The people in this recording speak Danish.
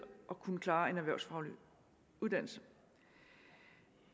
at kunne klare en erhvervsfaglig uddannelse